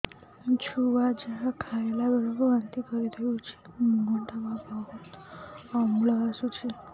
ମୋ ଛୁଆ ଯାହା ଖାଇଲା ବେଳକୁ ବାନ୍ତି କରିଦଉଛି ମୁହଁ ଟା ବହୁତ ଅମ୍ଳ ବାସୁଛି